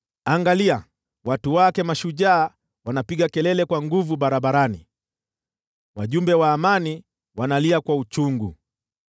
Angalia, watu wake mashujaa wanapiga kelele kwa nguvu barabarani, wajumbe wa amani wanalia kwa uchungu.